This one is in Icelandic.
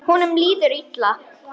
Honum líður illa.